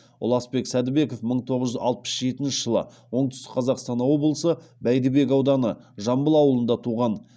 ұласбек сәдібеков мың тоғыз жүз алпыс жетінші жылы оңтүстік қазақстан облысы бәйдібек ауданы жамбыл ауылында туған